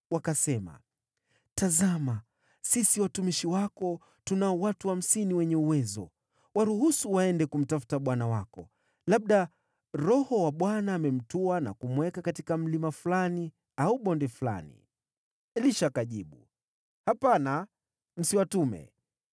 Wakasema, “Tazama, sisi watumishi wako tunao watu hamsini wenye uwezo. Waruhusu waende kumtafuta bwana wako. Labda Roho wa Bwana amemtwaa na kumweka katika mlima fulani au bonde fulani.” Elisha akajibu, “Hapana, msiwatume.”